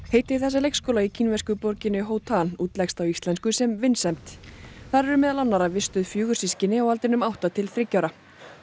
heiti þessa leikskóla í kínversku borginni Hotan úleggst á íslensku sem vinsemd þar eru meðal annarra vistuð fjögur systkini á aldrinum átta til þriggja ára